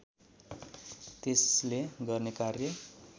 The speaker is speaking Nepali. त्यसले गर्ने कार्य